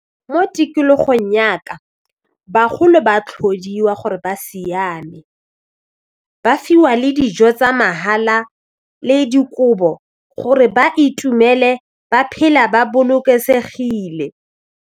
Mo tikologong ya ka bagolo ba tlhodiwa gore ba siame ba fiwa le dijo tsa mahala le dikobo gore ba itumele ba phela ba bolokesegile.